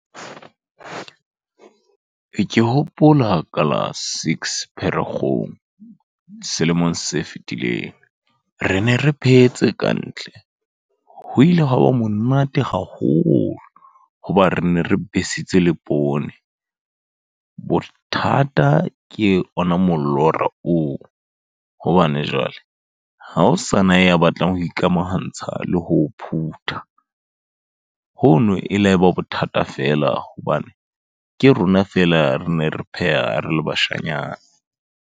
Ke hopola ka la six Pherekgong, selemong se fetileng. Re ne re phehetse kantle. Ho ile hwa ba monate haholo, hoba re ne re besitse le poone. Bothata ke ona molora oo, hobane jwale ha ho sana ya batlang ho ikamahantsha le ho o phutha. Hono e la ba bothata feela, hobane ke rona fela re ne re pheha, re le bashanyana.